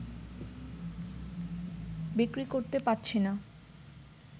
বিক্রি করতে পারছিনা